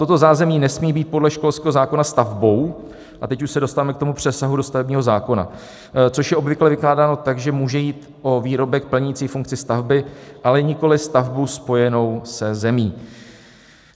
Toto zázemí nesmí být podle školského zákona stavbou - a teď už se dostáváme k tomu přesahu do stavebního zákona - což je obvykle vykládáno tak, že může jít o výrobek plnící funkci stavby, ale nikoliv stavbu spojenou se zemí.